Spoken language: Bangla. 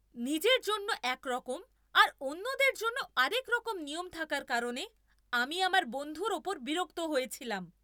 নিজের জন্য একরকম আর অন্যদের জন্য আরেকরকম নিয়ম থাকার কারণে আমি আমার বন্ধুর ওপর বিরক্ত হয়েছিলাম।